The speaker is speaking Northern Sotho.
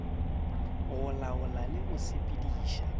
go laola le go sepediša